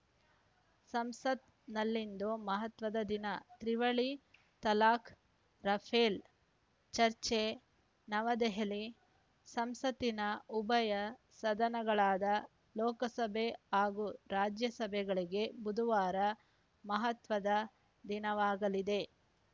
ಸಂಸತ್‌ನಲ್ಲಿಂದು ಮಹತ್ವದ ದಿನ ತ್ರಿವಳಿ ತಲಾಖ್‌ ರಫೇಲ್‌ ಚರ್ಚೆ ನವದೆಹಲಿ ಸಂಸತ್ತಿನ ಉಭಯ ಸದನಗಳಾದ ಲೋಕಸಭೆ ಹಾಗೂ ರಾಜ್ಯಸಭೆಗಳಿಗೆ ಬುಧವಾರ ಮಹತ್ವದ ದಿನವಾಗಲಿದೆ